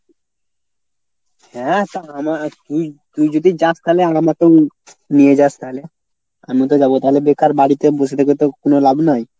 হ্যাঁ তা আমা কী তুই যদি যাস তালে আমাকেও নিয়ে যাস তাহলে। আমিও তো যাব তাহলে বেকার বাড়িতে বসে থেকে তো কোনো লাভ নাই।